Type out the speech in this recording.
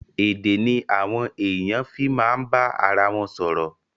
Èdè ni àwọn èèyàn fi ma bá ara wọn sọ̀rọ̀.